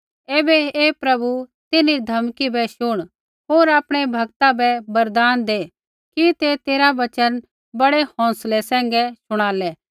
ऐबै हे प्रभु तिन्हरी धमकी बै शुण होर आपणै भक्ता बै वरदान दै कि ते तेरा वचन बड़ै हौंसलै सैंघै शुणालै